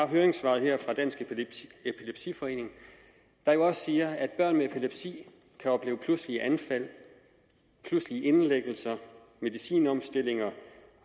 høringssvaret fra dansk epilepsiforening der jo også siger at børn med epilepsi kan opleve pludselige anfald pludselige indlæggelser medicinomstillinger